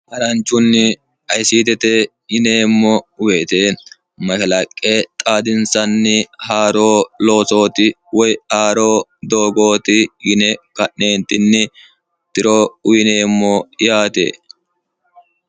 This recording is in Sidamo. haranchunni ayisiitete yineemmo uweete mahilaqqe xaadinsanni haaro loosooti woy aaroo doogooti yine ka'neentinni tiro uyineemmo yaate